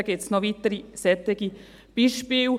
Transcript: Es gibt noch weitere solche Beispiele.